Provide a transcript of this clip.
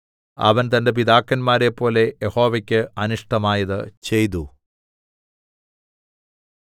അവൻ തന്റെ പിതാക്കന്മാരെപ്പോലെ യഹോവയ്ക്ക് അനിഷ്ടമായത് ചെയ്തു